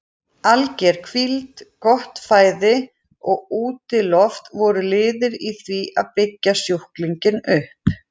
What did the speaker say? Alger hvíld, gott fæði og útiloft voru liðir í því að byggja sjúklinginn upp.